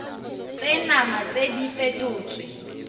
tse nama tse di fetotswe